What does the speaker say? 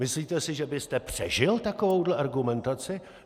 Myslíte si, že byste přežil takovouhle argumentaci?